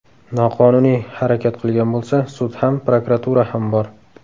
Noqonuniy harakat qilgan bo‘lsa, sud ham, prokuratura ham bor.